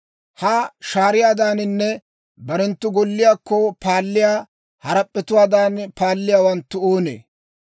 «Ha shaariyaadaaninne barenttu golliyaakko paalliyaa harap'p'etuwaadan paalliyaawanttu oonee?